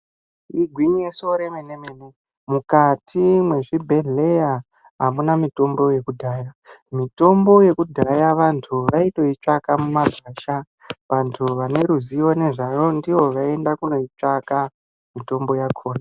Igwinyiso re mene mene mukati mwe zvibhedhleya amuna mitombo yekudhaya mitombo yekudhaya vantu vaitoi tsvaka mu magwasha vantu vane ruzivo nezvayo dzivo vaienda kunoi tsvaka mutombo yakona.